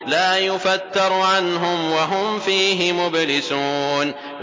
لَا يُفَتَّرُ عَنْهُمْ وَهُمْ فِيهِ مُبْلِسُونَ